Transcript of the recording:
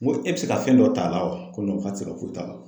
N ko e bi se ka fɛn dɔ t'a la wa? ko k'a ti se ka foyi t'a la.